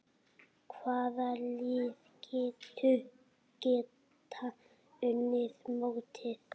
Hvaða lið geta unnið mótið?